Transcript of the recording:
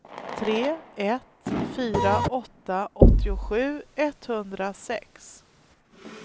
tre ett fyra åtta åttiosju etthundrasex